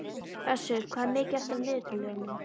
Össur, hvað er mikið eftir af niðurteljaranum?